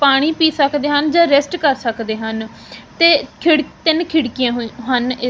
ਪਾਣੀ ਪੀ ਸਕਦੇ ਹਨ ਜਾਂ ਰੈਸਟ ਕਰ ਸਕਦੇ ਹਨ ਤੇ ਖਿੜ ਤਿੰਨ ਖਿੜਕੀਆਂ ਹਨ ਇਸ--